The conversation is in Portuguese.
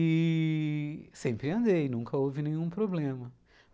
E sempre andei, nunca houve nenhum problema.